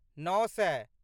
नओ सए